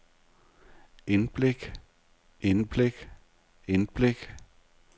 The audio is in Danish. indblik indblik indblik